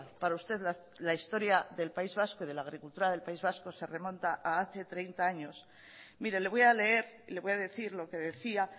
para usted la historia del país vasco y de la agricultura del país vasco se remonta a hace treinta años mire le voy a leer le voy a decir lo que decía